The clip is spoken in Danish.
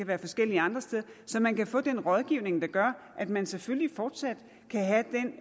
være forskellige andre steder så man kan få den rådgivning der gør at man selvfølgelig fortsat kan